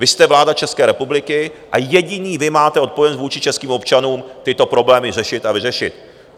Vy jste vláda České republiky a jediní vy máte odpovědnost vůči českým občanům tyto problémy řešit a vyřešit.